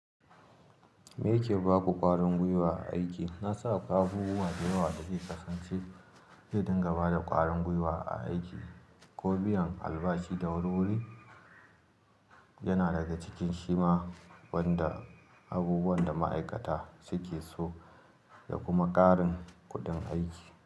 Me ke ba ku ƙarin gwiwa a aiki? Na san akwai abubuwa da yawa da ke kasance zai dinga bada da ƙarin gwiwa a aiki, ko biyan albashi da wuri-wuri yana daga cikin shi ma wanda abubuwan da ma'aikata suke so da kuma ƙarin kuɗin aiki.